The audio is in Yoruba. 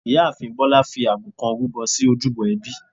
ìyáàfín Bolá fi àgbò kán rúbọ sí ojúbọ ẹbí.